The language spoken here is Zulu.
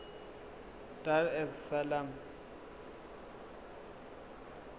dar es salaam